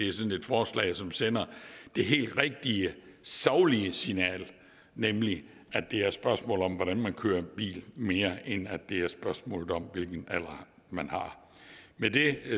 er sådan et forslag som sender det helt rigtige saglige signal nemlig at det er et spørgsmål om hvordan man kører en bil mere end det er et spørgsmål om hvilken alder man har med det